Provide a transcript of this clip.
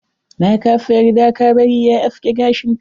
Na kasa yarda ka bari ya aske gashin ka.